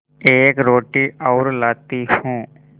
एक रोटी और लाती हूँ